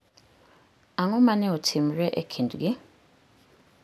Ang'o ma ne otimore e kindgi?